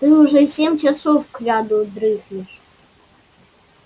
ты уже семь часов кряду дрыхнешь